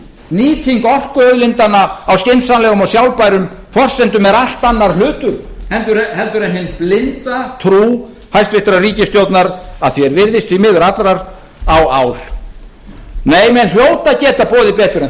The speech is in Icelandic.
nýting orkuauðlindanna á skynsamlegum og sjálfbærum forsendum er allt annar hlutur heldur en hin blinda trú hæstvirtrar ríkisstjórnar að því er virðist því miður allrar á ál menn hljóta að geta boðið betur en þetta mönnum hlýtur að